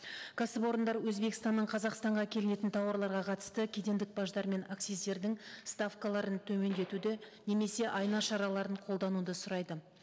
кәсіпорындар өзбекстаннан қазақстанға әкелінетін тауарларға қатысты кедендік баждар мен акциздердің ставкаларын төмендетуді немесе айна шараларын қолдануды сұрайды